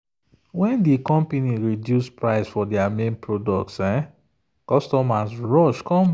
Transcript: when the company reduce price for their main product customers rush come buy.